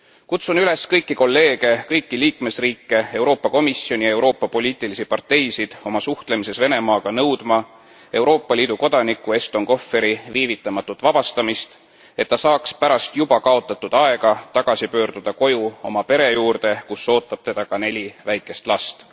Kutsun üles kõiki kolleege, kõiki liikmesriike, Euroopa Komisjoni, Euroopa poliitilisi parteisid oma suhtlemises Venemaaga nõudma Euroopa Liidu kodaniku Eston Kohveri viivitamatut vabastamist, et ta saaks pärast juba kaotatud aega tagasi pöörduda koju oma pere juurde, kus ootab teda ka neli väikest last.